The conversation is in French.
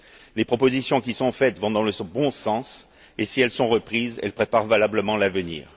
Les propositions qui sont faites vont dans le bon sens et, si elles sont reprises, elles préparent valablement l'avenir.